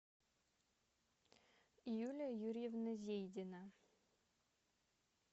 юлия юрьевна зейдина